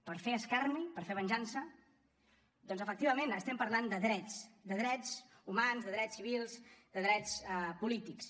per fer escarni per fer venjança doncs efectivament estem parlant de drets de drets humans de drets civils de drets polítics